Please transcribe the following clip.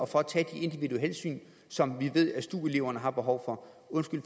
for at tage de individuelle hensyn som vi ved at stu eleverne har behov for undskyld